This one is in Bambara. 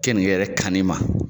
Kenike yɛrɛ kan ni ma.